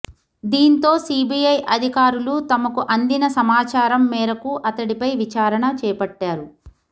దీంతో సిబిఐ అధికారులు తమకు అందిన సమాచారం మేరకు అతడిపై విచారణ చేపట్టారు